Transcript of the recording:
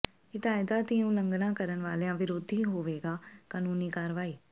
ਹਦਾਇਤਾਂ ਦੀ ਉਲੰਘਣਾ ਕਰਨ ਵਾਲਿਆਂ ਵਿਰੋਧ ਹੋਵੇਗੀ ਕਾਨੂੰਨੀ ਕਾਰਵਾਈ